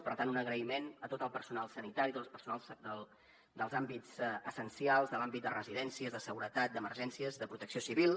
per tant un agraïment a tot el personal sanitari a tot el personal dels àmbits essencials de l’àmbit de residències de seguretat d’emergències de protecció civil